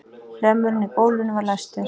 Hlemmurinn í gólfinu var læstur.